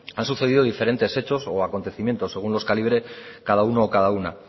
han sucedido diferentes hechos o acontecimientos según los calibre cada uno o cada una